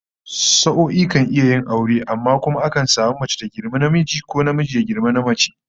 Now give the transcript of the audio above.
Sa'o'i kan iya yin aure, amma kuma akan samu mace ta girmi namiji, ko namiji ya girmi namace